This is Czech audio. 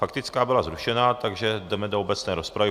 Faktická byla zrušena, takže jdeme do obecné rozpravy.